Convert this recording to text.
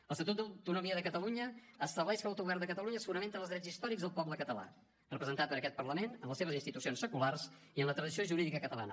l’estatut d’autonomia de catalunya estableix que l’autogovern de catalunya es fonamenta en els drets històrics del poble català representat per aquest parlament en les seves institucions seculars i en la tradició jurídica catalana